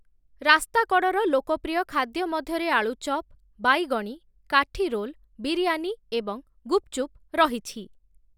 ରାସ୍ତାକଡ଼ର ଲୋକପ୍ରିୟ ଖାଦ୍ୟ ମଧ୍ୟରେ ଆଳୁ ଚପ୍, ବାଇଗଣୀ, କାଠି ରୋଲ୍, ବିରିୟାନୀ ଏବଂ ଗୁପ୍‌ଚୁପ୍‌ ରହିଛି ।